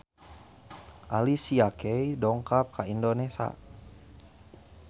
Alicia Keys dongkap ka Indonesia